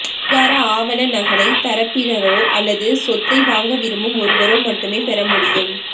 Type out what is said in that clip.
அதிகார ஆவண நகலை தரப்பினரோ அல்லது சொத்தை வாங்க விரும்பும் ஒருவரோ மட்டுமே பெறமுடியும்